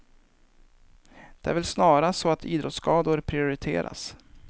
Det är väl snarast så att idrottsskador priorirteras.